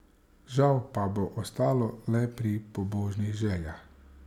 Žal pa bo ostalo le pri pobožnih željah.